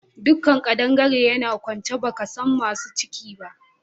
Duk kadangaren yana kwance baka san masu ciki ba